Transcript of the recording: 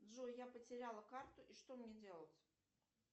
джой я потеряла карту и что мне делать